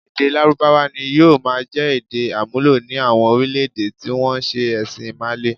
Èdè Lárúbáwá ni yóò máa jẹ èdè-àmúlò ní àwọn orílẹ̀-èdè tí wọ́n ń se ẹ̀sìn Ìmàle.